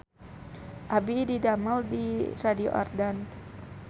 Abdi didamel di Radio Ardan